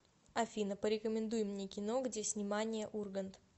афина порекомендуй мне кино где снимания ургант